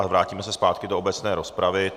A vrátíme se zpátky do obecné rozpravy.